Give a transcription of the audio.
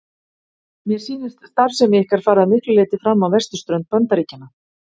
Mér sýnist starfsemi ykkar fara að miklu leyti fram á vesturströnd Bandaríkjanna.